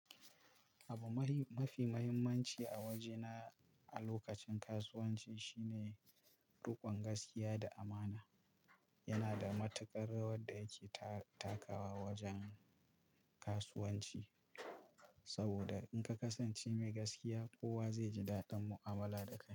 Abu mafi muhimmanci a waje na a lokacin kasuwanci shine riƙon gaskiya da amana. Yana da matuƙar rawar da yake ta-takawa wajen kasuwanci saboda in ka kasance mai gaskiya, kowa zai ji daɗin mu'amala da kai.